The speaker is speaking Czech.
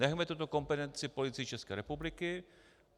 Nechme tuto kompetenci Policii České republiky.